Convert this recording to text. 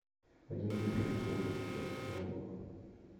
один евро это сколько сейчас в реалах